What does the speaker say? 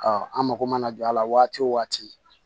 an mago mana jɔ a la waati o waati